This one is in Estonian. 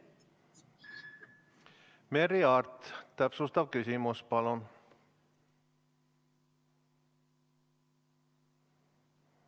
Merry Aart, täpsustav küsimus, palun!